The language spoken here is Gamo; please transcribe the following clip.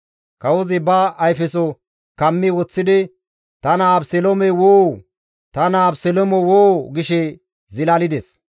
Kawozi ba ayfeso kammi woththidi, «Ta naa Abeseloome woo! Ta naa Abeseloome woo» gishe zilalides.